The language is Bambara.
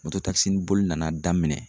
boli nana daminɛ.